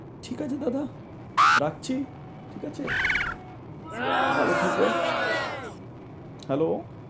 ঠিক আছে দাদা, রাখছি? ঠিক আছে ভালো থেকো। Hello?